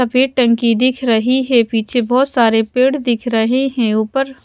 सफेद टंकी दिख रही है पीछे बहोत सारे पेड़ दिख रहे हैं ऊपर--